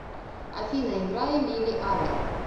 афина играй лили аллен